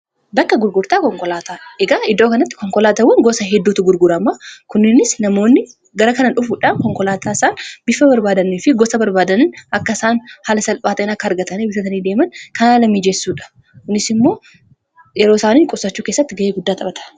bakka gurgurtaa konkolaataa egaa iddoo kanatti konkolaatawwan gosa hedduutu gurguramaa kunninis namoonni gara kanadhufuudhaan konkolaataa isaan bifa barbaadanii fi gosa barbaadani akka isaan haala salphaatin akka argatani fi bitatanii deeman kanaa haalamiijessuudha kunis immoo yeroo isaanii qussachuu kessatti ga'ee guddaa xaphata